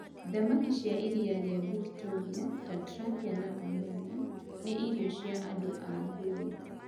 Thamaki cĩa iria rĩa Victoria, ta tilapia na omena, nĩ irio cia andũ a Luo.